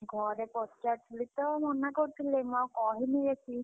ଘରେ ପଚାରୁଥିଲି ତ ମନା କରୁଥିଲେ ମୁଁ ଆଉ କହିନି ବେଶୀ।